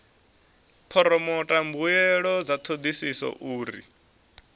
phoromotha mbuelo dza thodisiso uri